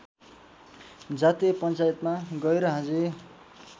जातीय पञ्चायतमा गैरहाजिर